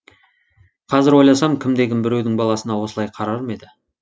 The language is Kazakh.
қазір ойласам кімде кім біреудің баласына осылай қарар ма еді